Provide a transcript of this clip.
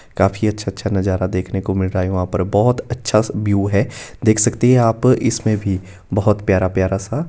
काफी अच्छा अच्छा नजरा देखने को मिल रहा है वहां पर बहोत अच्छा सा व्यू है देख सकते है यहां पर इसमें भी बहोत प्यारा प्यार सा--